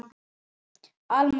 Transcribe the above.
Alma Rut.